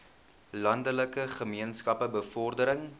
landelike gemeenskappe bevordering